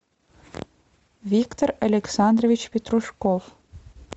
виктор александрович петрушков